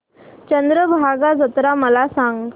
चंद्रभागा जत्रा मला सांग